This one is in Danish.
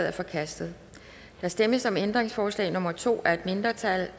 er forkastet der stemmes om ændringsforslag nummer to af et mindretal